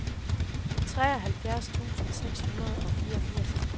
treoghalvfjerds tusind seks hundrede og fireogfirs